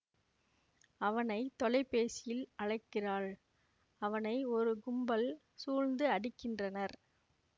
அவனை தொலைபேசியில் அழைக்கிறாள் அவனை ஒரு கும்பல் சூழ்ந்து அடிக்கின்றனர்